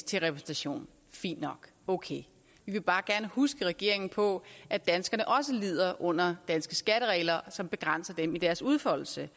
til repræsentation fint nok okay vi vil bare gerne huske regeringen på at danskerne også lider under danske skatteregler som begrænser dem i deres udfoldelse